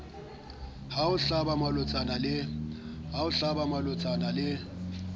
ho o hlaba malotsana le